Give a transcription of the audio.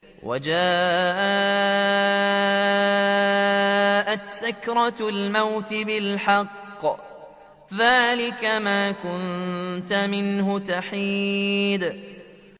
وَجَاءَتْ سَكْرَةُ الْمَوْتِ بِالْحَقِّ ۖ ذَٰلِكَ مَا كُنتَ مِنْهُ تَحِيدُ